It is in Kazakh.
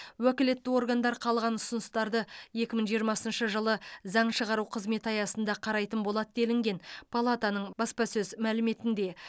уәкілетті органдар қалған ұсыныстарды екі мың жиырмасыншы жылы заң шығару қызметі аясында қарайтын болады делінген палатаның баспасөз мәліметінде